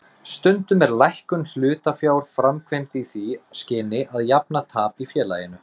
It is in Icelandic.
Stundum er lækkun hlutafjár framkvæmd í því skyni að jafna tap í félaginu.